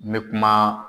N bɛ kuma